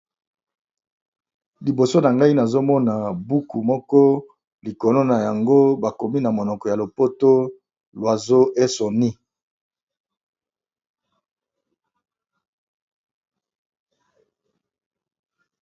Liboso na ngai nazomona buku moko, oyo bakomi na monoko ya lopoto oiseaux et son nid